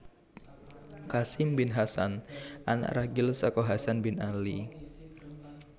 Qasim bin Hasan Anak ragil saka Hasan bin Ali